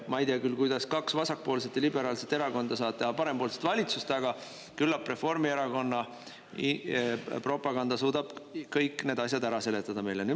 Ma ei tea küll, kuidas kaks vasakpoolset ja liberaalset erakonda saavad teha parempoolset valitsust, aga küllap Reformierakonna propaganda suudab kõik need asjad ära seletada meile.